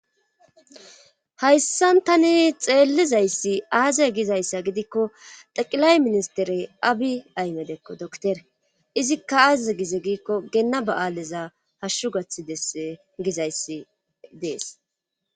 Hayssan tani xeellizayssi aaze gizayssa gidikko daqilay ministerey abi aymedekko doktere izikka aazeze gize giikko geenna ba7aaleza hashshu gathi dess gizayssi dees.